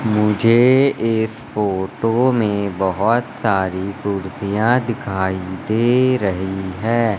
मुझे इस फोटो में बहोत सारी कुर्सियां दिखाई दे रही है।